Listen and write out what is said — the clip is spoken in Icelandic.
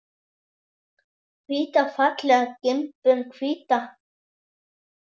Hvíta fallega gimbur, hvíta.